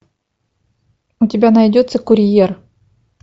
у тебя найдется курьер